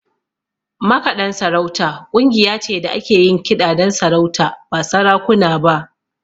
Makaɗan sarauta ƙungiya ce da ke yin kiɗa don sarauta, ba sarakuna ba.